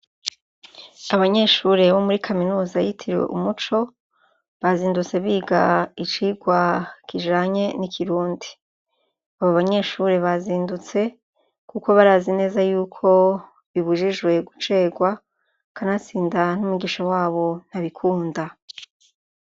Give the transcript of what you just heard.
Abanyeshure bo muri kaminuza yitiriwe umuco, bazindutse big' icigwa kijanye ni kirundi, abo banyeshure bazindutse kuko barazi neza yuko bibujijwe guceregwa, kanatsinda n' umwigisha wabo ntabikunda.